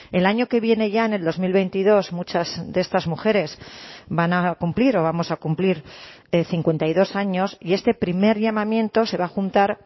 el año que viene ya en el dos mil veintidós muchas de estas mujeres van a cumplir o vamos a cumplir cincuenta y dos años y este primer llamamiento se va a juntar